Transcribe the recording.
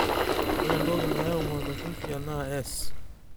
ore entoki nayau maltophipia na S